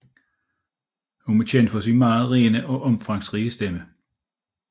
Hun er kendt for sin meget rene og omfangsrige stemme